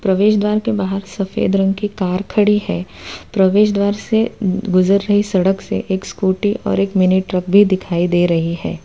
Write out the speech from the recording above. प्रवेश द्वार के बाहर सफेद रंग की कार खड़ी है प्रवेश द्वार से गुजर रही सड़क से एक स्कूटी और एक मिनी ट्रैक भी दिखाई दे रही है।